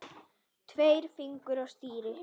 Tveir fingur á stýri.